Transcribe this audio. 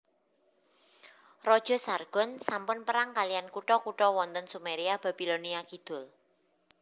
Raja Sargon sampun perang kaliyan kutha kutha wonten Sumeria Babilonia Kidul